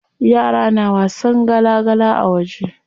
Yara na wasan gala gala a waje.